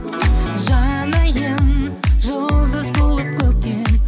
жанайын жұлдыз туып көктен